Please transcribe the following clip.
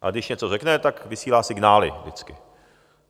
A když něco řekne, tak vysílá signály vždycky.